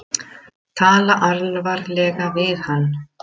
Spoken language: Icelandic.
Tala alvarlega við hann.